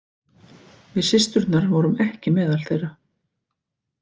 Við systurnar vorum ekki meðal þeirra.